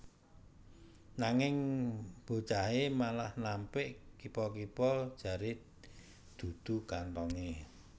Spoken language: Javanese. Nanging bocahé malah nampik kipa kipa jaré dudu kanthongé